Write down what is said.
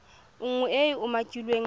nngwe e e umakiwang mo